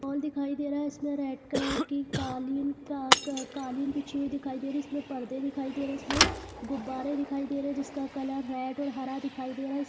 Whole दिखाई दे रहा है इसमें रेड कलर का की कलि कलिन बीचा हुई दिखाई दे रही है इसमें परदे दिखाई दे रही है इसमें गुबारा दिखाई दे रही है जिसका कलर रेड और हरा दिखाई दे रहा है।